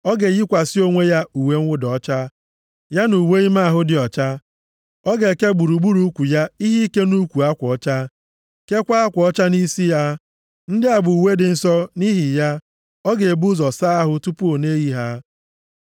Ọ ga-eyikwasị onwe ya uwe mwụda ọcha, + 16:4 Ndị nchụaja na-eyipụ uwe ije ozi ha, hapụ ya nʼime ụlọnsọ ukwu Onyenwe anyị, mgbe ha jesiri ozi. \+xt Izk 44:17-19\+xt* ya na uwe ime ahụ dị ọcha. Ọ ga-eke gburugburu ukwu ya ihe ike nʼukwu akwa ọcha, keekwa akwa ọcha nʼisi ya. Ndị a bụ uwe dị nsọ, nʼihi ya, ọ ga-ebu ụzọ saa ahụ tupu ọ na-eyi ha.